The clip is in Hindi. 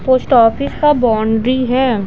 पोस्ट ऑफिस का बाउंड्री है।